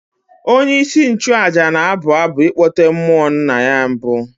Onyeisi nchụaja na-abụ abụ ịkpọte mmụọ nna ya mbụ.